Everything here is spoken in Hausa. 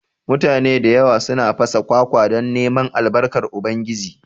Mutane da yawa suna fasa kwakwa don neman Albarkan Ubangiji